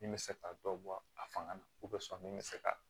Min bɛ se ka dɔ bɔ a fanga na min bɛ se ka